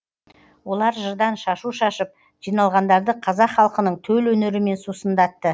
олар жырдан шашу шашып жиналғандарды қазақ халқының төл өнерімен сусындатты